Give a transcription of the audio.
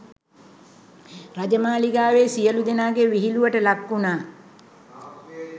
රජමාලිගාවේ සියලූ දෙනාගේ විහිළුවට ලක්වුනා.